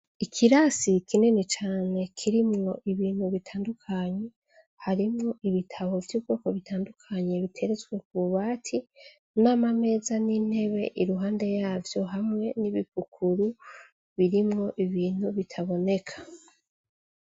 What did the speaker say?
Ikirasi kinini cane kirimwo ibintu bitandukanye, harimwo ibitabo vy’ubwoko butandukanye biteretswe kububati, n’amameza n’intebe iruhande yavyo hamwe n’ibipukuru birimwo ibintu bitaboneka.